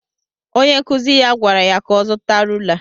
Onye nkụzi ya gwara ya ka ọ zuta rula